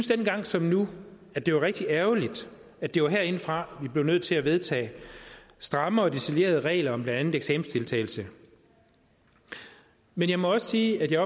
dengang som nu at det var rigtig ærgerligt at det var herindefra vi blev nødt til at vedtage stramme og detaljerede regler om blandt andet eksamensdeltagelse men jeg må også sige at jeg